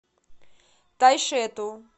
тайшету